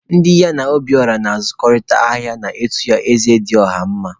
Ndị ya na Obiora na-azụkọ ahịa na-etu ya Eze dị ọha mma.